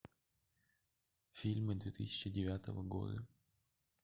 фильмы две тысячи девятого года